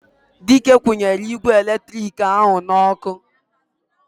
Dike kwunyere igwe eletiriki ahu n'oku